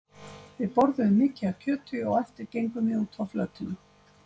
Við borðuðum mikið af kjöti og á eftir gengum við út á flötina.